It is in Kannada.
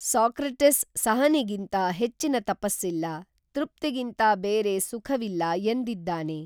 ಸಾಕ್ರಟಿಸ್ ಸಹನೆಗಿಂತ ಹೆಚ್ಚಿನ ತಪಸ್ಸಿಲ್ಲ, ತೃಪ್ತಿಗಿಂತ ಬೇರೆ ಸುಖವಿಲ್ಲ ಎಂದಿದ್ದಾನೆ.